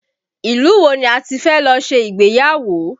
Ilu wo ni a ti fẹ́ lọ ṣe ìgbéyàwó?